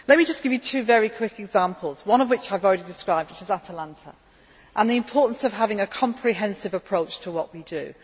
Let me just give you two very quick examples, one of which I have already described which was at Atalanta and the importance of having a comprehensive approach to what we